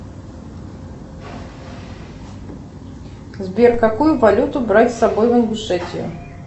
сбер какую валюту брать с собой в ингушетию